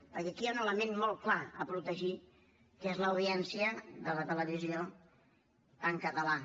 perquè aquí hi ha un element mot clar a protegir que és l’audiència de la televisió en català